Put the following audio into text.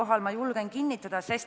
Jah, ma julgen seda kinnitada.